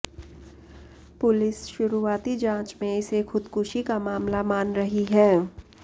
police शुरुआती जांच में इसे खुदकुशी का मामला मान रही है